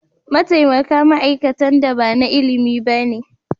Mataimaka ma'aikatan da ba na ilimi ba ne.